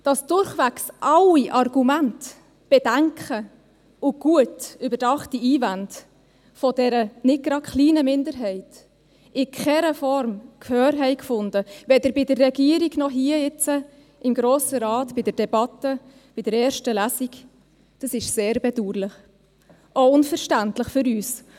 Dass durchwegs alle Argumente, Bedenken und gut überdachte Einwände dieser nicht gerade kleinen Minderheit in keiner Form Gehör fanden, weder bei der Regierung noch hier im Grossen Rat in der Debatte der ersten Lesung, ist sehr bedauerlich und auch unverständlich für uns.